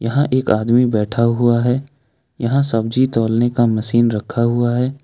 यहाँ एक आदमी बैठा हुआ है यहां सब्जी तौलने का मशीन रखा हुआ है।